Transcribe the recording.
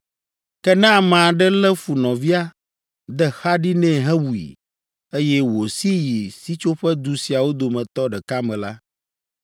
“Ke ne ame aɖe lé fu nɔvia, de xa ɖi nɛ hewui, eye wòsi yi sitsoƒedu siawo dometɔ ɖeka me la,